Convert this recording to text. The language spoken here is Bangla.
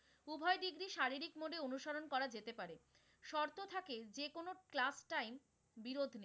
এটি শারীরিক mood এ অনুসরণ করা যেতে পারে, শর্ত থাকে যেকোনো class time বিরতি,